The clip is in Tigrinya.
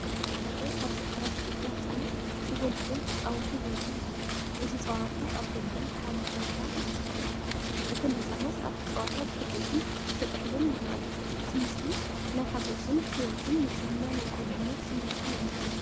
ኣብ ሓደ ካብ ገጠራት ኢትዮጵያ ህፃናት ቮሊቦል ክፃወቱ ዘርኢ እዩ። እቲ ጸወታ ኣብ ደገ፡ ሓመድ ሜዳ እዩ ዝካየድ። እቶም ህጻናት ኣብቲ ጸወታ ክሕጎሱን ክጥሕሉን ይረኣዩ። እቲ ምስሊ ናይ ሓጎስን ህይወትን ንጽህና ናይ ቁልዕነት ስምዒትን የመሓላልፍ።